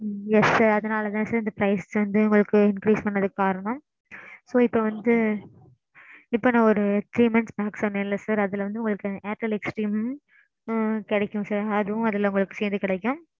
yes sir அதனாலதான் sir இந்த price வந்து உங்களுக்கு increase பன்றதுக்கு காரணம். so இப்போ வந்து. இப்போ நான் ஒரு three months pack சொன்னேன் இல்ல sir. அதுல வந்து உங்களுக்கு airtel xtream கிடைக்கும் sir. அதுவும் அதுல சேத்து கிடைக்கும்.